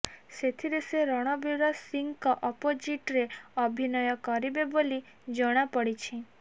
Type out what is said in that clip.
ଏଥିରେ ସେ ରଣବୀର ସିଂଙ୍କ ଅପୋଜିଟରେ ଅଭିନୟ କରିବେ ବୋଲି ଜଣାପଡିଛି